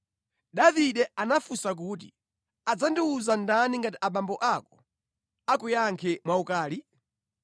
Davide anafunsa kuti, “Adzandiwuza ndani ngati abambo ako akuyankhe mwaukali?”